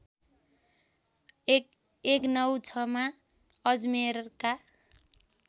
११९६ मा अजमेरका